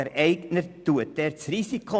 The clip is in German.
Der Eigner trägt also das Risiko.